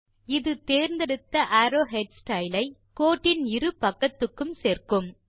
இது தேர்ந்தெடுத்த arrow head style ஐ கோட்டின் இரு பக்கத்துக்கும் சேர்க்கும்